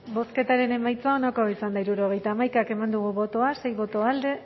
bozketaren emaitza onako izan da hirurogeita hamaika eman dugu bozka sei boto alde